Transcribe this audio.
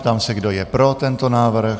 Ptám se, kdo je pro tento návrh.